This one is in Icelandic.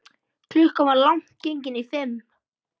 Klukkan var langt gengin í fimm.